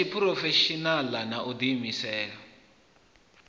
ya tshiphurofeshinala na u diimisela